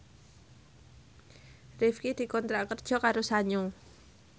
Rifqi dikontrak kerja karo Sanyo